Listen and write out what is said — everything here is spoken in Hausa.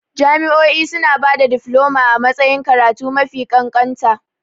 Jami'o'i suna ba da difloma a matsayin karatu mafi kanƙanta.